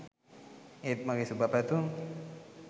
ඒත් මගේ සුබ පැතුම්